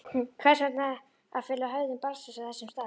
Hvers vegna að fela hegðun barnsins á þessum stað?